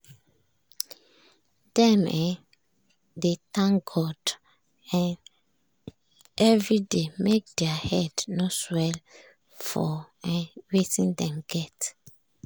dem um dey thank god um everyday make thier head no swell for um wetin dem get.